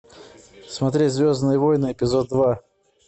смотреть звездные войны эпизод два